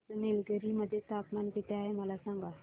आज निलगिरी मध्ये तापमान किती आहे मला सांगा